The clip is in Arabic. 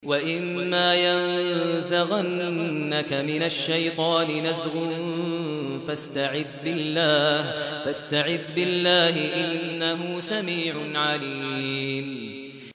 وَإِمَّا يَنزَغَنَّكَ مِنَ الشَّيْطَانِ نَزْغٌ فَاسْتَعِذْ بِاللَّهِ ۚ إِنَّهُ سَمِيعٌ عَلِيمٌ